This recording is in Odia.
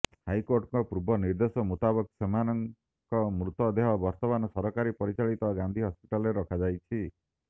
ହାଇକୋର୍ଟଙ୍କ ପୂର୍ବ ନିର୍ଦ୍ଦେଶ ମୁତାବକ ସେମାନଙ୍କ ମୃତ ଦେହ ବର୍ତ୍ତମାନ ସରକାରୀ ପରିଚାଳିତ ଗାନ୍ଧି ହସ୍ପିଟାଲରେ ରଖାଯାଇଛି